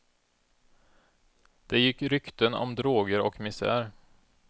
Det gick rykten om droger och misär.